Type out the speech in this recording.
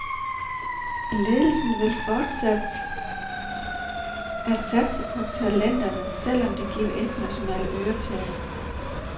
Ledelsen vil fortsat at satse på talenterne, selv om det giver internationale øretæver.